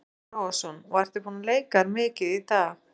Boði Logason: Og ertu búinn að leika þér mikið í dag?